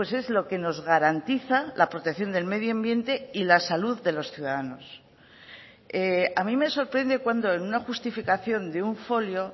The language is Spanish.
es lo que nos garantiza la protección del medio ambiente y la salud de los ciudadanos a mí me sorprende cuando en una justificación de un folio